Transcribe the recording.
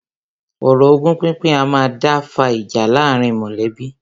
Ọ̀rọ̀ ogún pínpín a máa dá fa ìjà láàárín mọ̀lẹ́bí.